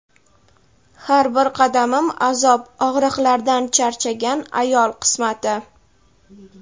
"Har bir qadamim azob" og‘riqlardan charchagan ayol qismati.